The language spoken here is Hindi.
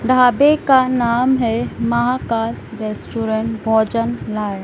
ढाबे का नाम है महाकाल रेस्टोरेंट भोजननाय ।